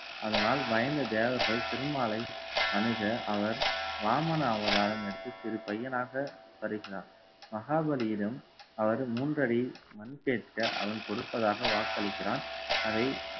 அதனால், பயந்த தேவர்கள் திருமாலை அணுக அவர் வாமன அவதாரம் எடுத்து சிறு பையனாக வருகிறார். மகாபலியிடம் அவர் மூன்றடி மண் கேட்க அவன் கொடுப்பதாக வாக்களிக்கிறான். அதை